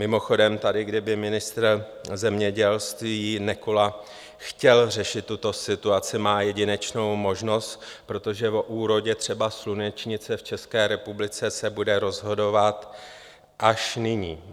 Mimochodem, tady kdyby ministr zemědělství Nekola chtěl řešit tuto situaci, má jedinečnou možnost, protože o úrodě třeba slunečnice v České republice se bude rozhodovat až nyní.